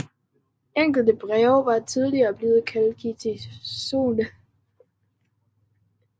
Enkelte breve var tidligere blevet kaldt katolske